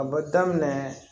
A bɛ daminɛ